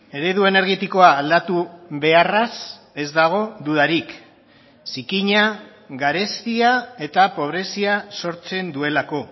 eredu energetikoa aldatu beharraz ez dago dudarik zikina garestia eta pobrezia sortzen duelako